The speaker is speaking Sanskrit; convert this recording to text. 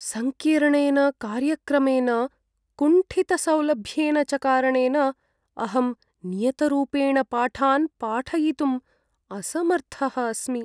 सङ्कीर्णेन कार्यक्रमेन, कुण्ठितसौलभ्येन च कारणेन, अहं नियतरूपेण पाठान् पाठयितुम् असमर्थः अस्मि।